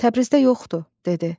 Təbrizdə yoxdu, dedi.